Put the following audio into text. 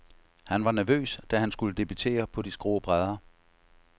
Han var nervøs, da han skulle debutere på de skrå brædder.